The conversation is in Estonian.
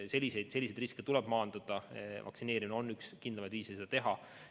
Selliseid riske tuleb maandada ja vaktsineerimine on üks kindlamaid viise seda teha.